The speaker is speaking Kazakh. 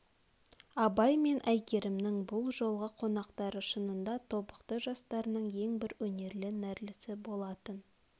абай мен әйгерімнің бұл жолғы қонақтары шынында тобықты жастарының ең бір өнерлі нәрлісі болатын